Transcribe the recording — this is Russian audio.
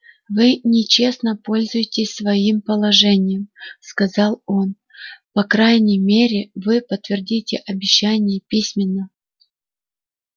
вы нечестно пользуетесь своим положением сказал он по крайней мере вы подтвердите обещание письменно